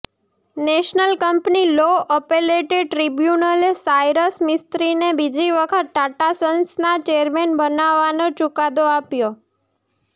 national company law appellate ટ્રિબ્યુનલે સાયરસ મિસ્ત્રીને બીજી વખત ટાટા સન્સના ચેરમેન બનાવવાનો ચુકાદો આપ્યો